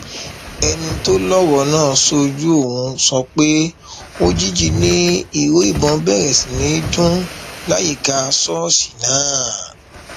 ẹnìkan tó lọrọ náà ṣojú òun sọ pé òjijì ni ìró ìbọn bẹrẹ sí í dún láyìíká ṣọọṣì náà